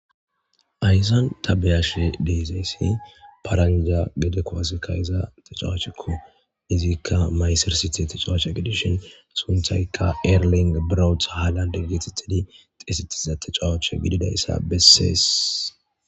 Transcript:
Haysan tabeyashe de'izayssi paranja gede kowaseka iza ta cawachekko izikka maysersiti ta cawacha gedishin sunthayka eerlin braweth haalande geetettidi xesetiza ta cawacha gididayssa bessees